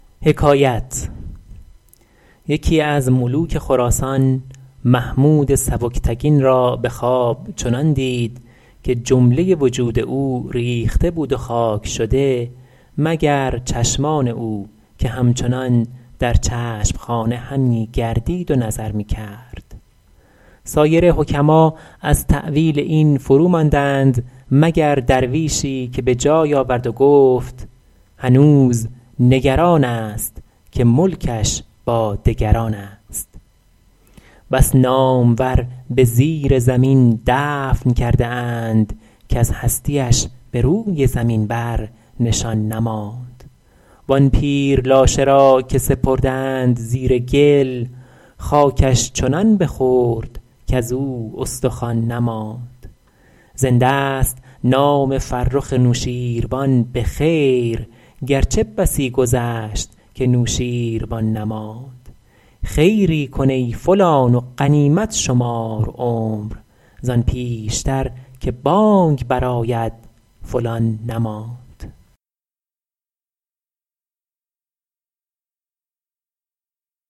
یکی از ملوک خراسان محمود سبکتگین را به خواب چنان دید که جمله وجود او ریخته بود و خاک شده مگر چشمان او که همچنان در چشم خانه همی گردید و نظر می کرد سایر حکما از تأویل این فروماندند مگر درویشی که به جای آورد و گفت هنوز نگران است که ملکش با دگران است بس نامور به زیر زمین دفن کرده اند کز هستی اش به روی زمین بر نشان نماند وآن پیر لاشه را که سپردند زیر گل خاکش چنان بخورد کزو استخوان نماند زنده ست نام فرخ نوشین روان به خیر گرچه بسی گذشت که نوشین روان نماند خیری کن ای فلان و غنیمت شمار عمر زآن پیشتر که بانگ بر آید فلان نماند